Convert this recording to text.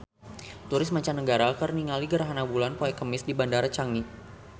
Turis mancanagara keur ningali gerhana bulan poe Kemis di Bandara Changi